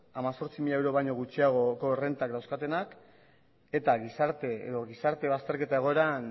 hemezortzi mila euro baino gutxiagoko errentak dauzkatenak eta gizarte edo gizarte bazterketa egoeran